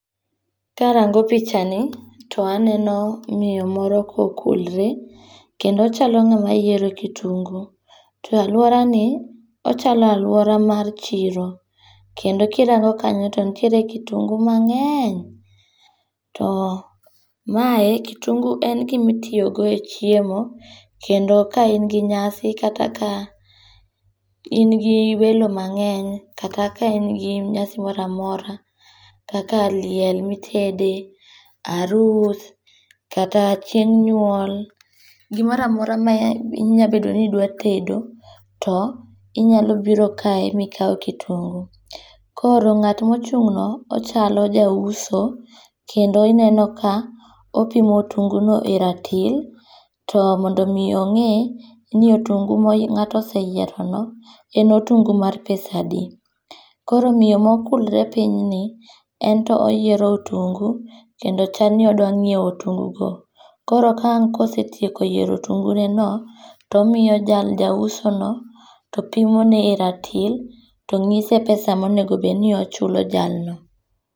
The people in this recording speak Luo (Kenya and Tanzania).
Karango pichani, to aneno miyo moro ka okulre kendo ochalo ngama yiero kitungu, to aluorani to achalo aluora mar chiro, kendo kirango kanyo to nitiere kitungu mangeny, too mae kitungu en gima itiyogodo e chiemo, kendo ka in gi nyasi kata kaa in gi welo mangeny kata ka en gi nyasi mora mor kaka en liel ma itede, harus kata ka chieng' nyuol, gimora mora ma inyalo bedo ni idwa tedo to inyalo biro kae ma ikaw kitungu, koro nga't ma ochung' no ochalo jauso kendo ineno ka opimi kitungono e ratil to mondo mi ongi' ni otungu ma ngato oseyierono en otungu mar pesadi, koro miyo ma okulre pinyni ento oyiero otungo kendo chalni odwanyiewo otungugo, koro ka ang' osetieko yiero otuguneno, to omiyo jausono to pimone e ratil to nyise pesa ma onego bed ni ochulo jalno.